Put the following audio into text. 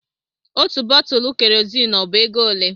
Otú bọtulụ Kerozini ọ bu égo olé?